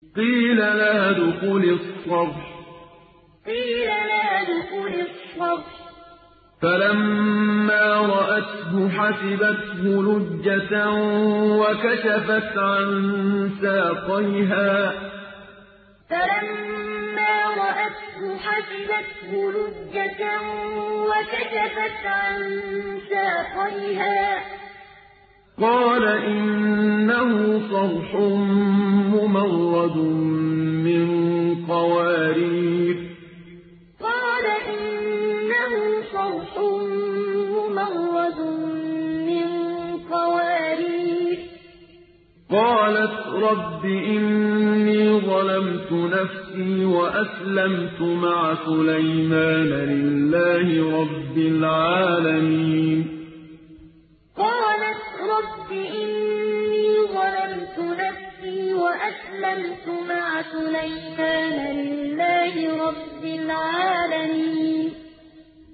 قِيلَ لَهَا ادْخُلِي الصَّرْحَ ۖ فَلَمَّا رَأَتْهُ حَسِبَتْهُ لُجَّةً وَكَشَفَتْ عَن سَاقَيْهَا ۚ قَالَ إِنَّهُ صَرْحٌ مُّمَرَّدٌ مِّن قَوَارِيرَ ۗ قَالَتْ رَبِّ إِنِّي ظَلَمْتُ نَفْسِي وَأَسْلَمْتُ مَعَ سُلَيْمَانَ لِلَّهِ رَبِّ الْعَالَمِينَ قِيلَ لَهَا ادْخُلِي الصَّرْحَ ۖ فَلَمَّا رَأَتْهُ حَسِبَتْهُ لُجَّةً وَكَشَفَتْ عَن سَاقَيْهَا ۚ قَالَ إِنَّهُ صَرْحٌ مُّمَرَّدٌ مِّن قَوَارِيرَ ۗ قَالَتْ رَبِّ إِنِّي ظَلَمْتُ نَفْسِي وَأَسْلَمْتُ مَعَ سُلَيْمَانَ لِلَّهِ رَبِّ الْعَالَمِينَ